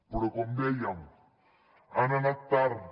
però com dèiem han anat tard